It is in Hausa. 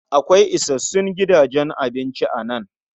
Akwai isassun gidajen abinci a nan.